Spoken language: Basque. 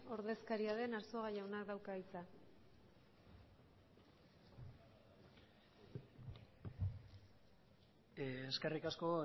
ordezkaria den arzuaga jaunak dauka hitza eskerrik asko